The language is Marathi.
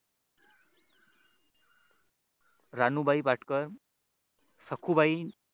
राणूबाई पाटकर सखुबाई